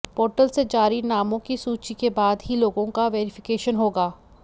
portal से जारी नामों की सूची के बाद ही लोगों का वेरीफिकेशन होगा